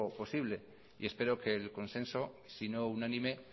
posible espero que el consenso si no unánime